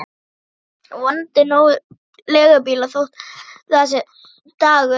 Vonandi nógir leigubílar þótt það sé þessi dagur.